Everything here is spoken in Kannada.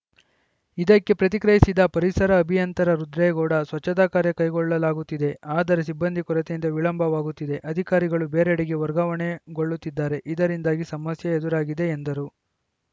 ಇದಕ್ಕೆ ಪ್ರತಿಕ್ರಿಯಿಸಿದ ಪರಿಸರ ಅಭಿಯಂತರ ರುದ್ರೇಗೌಡ ಸ್ವಚ್ಛತಾ ಕಾರ್ಯ ಕೈಗೊಳ್ಳಲಾಗುತ್ತಿದೆ ಆದರೆ ಸಿಬ್ಬಂದಿ ಕೊರತೆಯಿಂದ ವಿಳಂಬವಾಗುತ್ತಿದೆ ಅಧಿಕಾರಿಗಳು ಬೇರೆಡೆಗೆ ವರ್ಗಾವಣೆಗೊಳ್ಳುತ್ತಿದ್ದಾರೆ ಇದರಿಂದಾಗಿ ಸಮಸ್ಯೆ ಎದುರಾಗಿದೆ ಎಂದರು